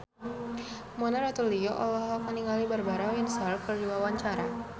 Mona Ratuliu olohok ningali Barbara Windsor keur diwawancara